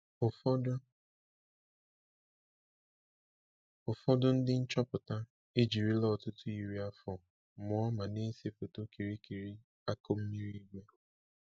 Ụfọdụ Ụfọdụ ndị nchọpụta ejirila ọtụtụ iri afọ mụọ ma na-ese foto kirịkịrị akụmmiri igwe.